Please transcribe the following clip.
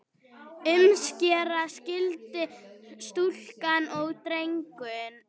Umskera skyldi stúlkur og drengi.